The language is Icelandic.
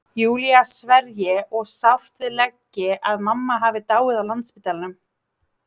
Júlía sverji og sárt við leggi að mamma hafi dáið á Landspítalanum.